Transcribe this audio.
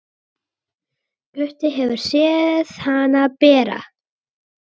Gutti hefur séð hana bera.